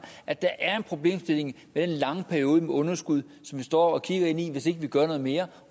at der er en problemstilling med den lange periode med underskud som stå og kigge ind i hvis ikke vi gør noget mere